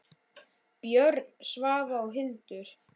Björn, Svava og Hildur.